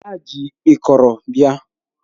Ha ji ịkọrọ bia